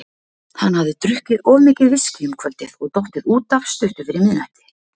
Hann hafði drukkið of mikið viskí um kvöldið og dottið út af stuttu fyrir miðnætti.